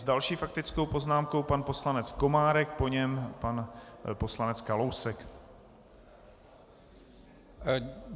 S další faktickou poznámkou pan poslanec Komárek, po něm pan poslanec Kalousek.